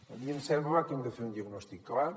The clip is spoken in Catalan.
a mi em sembla que hem de fer un diagnòstic clar